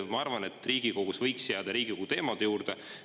Ma arvan, et Riigikogus võiks jääda Riigikogu teemade juurde.